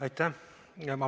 Aitäh!